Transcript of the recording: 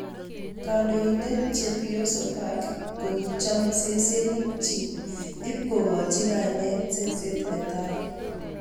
Kandoindet Chepioso Park ko ki chome sesenik chik ip ki koch kainet "Seset netai"